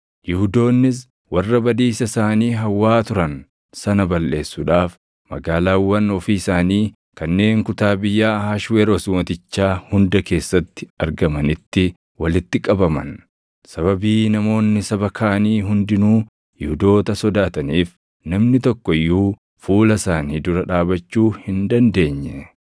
Yihuudoonnis warra badiisa isaanii hawwaa turan sana balleessuudhaaf magaalaawwan ofii isaanii kanneen kutaa biyyaa Ahashweroos Mootichaa hunda keessatti argamanitti walitti qabaman. Sababii namoonni saba kaanii hundinuu Yihuudoota sodaataniif namni tokko iyyuu fuula isaanii dura dhaabachuu hin dandeenye.